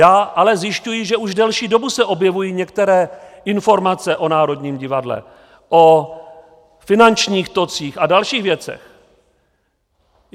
Já ale zjišťuji, že už delší dobu se objevují některé informace o Národním divadle, o finančních tocích a dalších věcech.